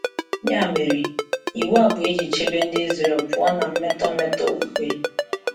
Ya mere, iwu a bụ iji chebe Ndị Israel pụọ na mmetọ mmetọ okpukpe.